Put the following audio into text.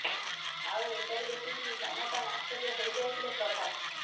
ଆଉ ଏସବୁ ଦେଖି କିଛି ସମୟ ପାଇଁ ଆଶ୍ଚର୍ୟ୍ୟ ହୋଇଯାଇଥିଲେ ପ୍ରଭାସ